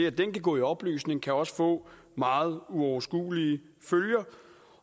at den kan gå i opløsning kan også få meget uoverskuelige følger